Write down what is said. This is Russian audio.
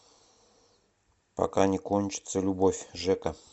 пока не кончится любовь жека